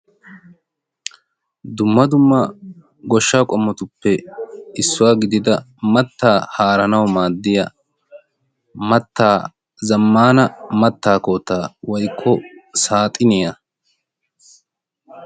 Dumma dumma goshshaa qoommotuppe issuwaa gidida maattaa haaranawu maaddiya zammana maattaa koottaa woykko saaxiniyaa.